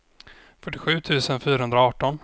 fyrtiosju tusen fyrahundraarton